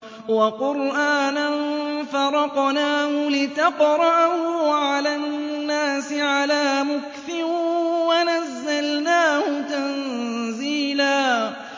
وَقُرْآنًا فَرَقْنَاهُ لِتَقْرَأَهُ عَلَى النَّاسِ عَلَىٰ مُكْثٍ وَنَزَّلْنَاهُ تَنزِيلًا